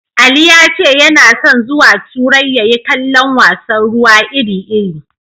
Ali ya ce yana son zuwa turai ya yi kallon wasan ruwa iri-iri.